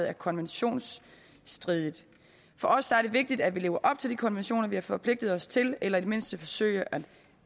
er konventionsstridigt for os er det vigtigt at vi lever op til de konventioner vi har forpligtet os til eller i det mindste forsøger at